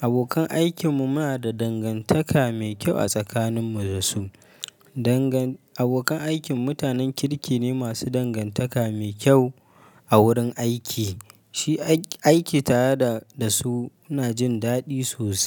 Abokan aikinmu muna da dangantaka mai kyau a tsakaninmu da su. Danga-- abokan aikin mu mutanen kirki ne masu dangantaka mai kyau a wurin aiki. Shi aiki tare da su muna jin daɗi sosai.